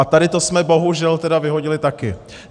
A tady to jsme bohužel vyhodili taky.